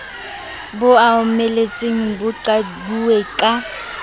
bo omeletseng bo meqilweng ka